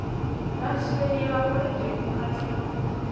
vhasheli vha mulenzhe hu katelwa